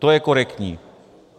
To je korektní.